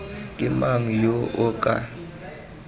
ke mang yo o ka